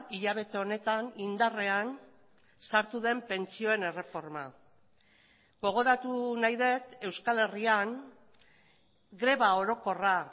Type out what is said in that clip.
hilabete honetan indarrean sartu den pentsioen erreforma gogoratu nahi dut euskal herrian greba orokorra